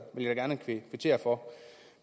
vil jeg gerne kvittere for